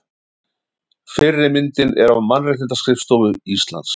Fyrri myndin er af Mannréttindaskrifstofu Íslands.